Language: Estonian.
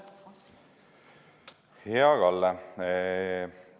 Hea Kalle!